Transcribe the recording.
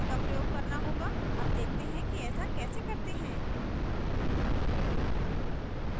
अब देखते हैं कि ऐसा कैसे करते हैं